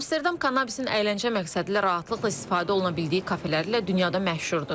Amsterdam kannabisin əyləncə məqsədilə rahatlıqla istifadə oluna bildiyi kafelərlə dünyada məşhurdur.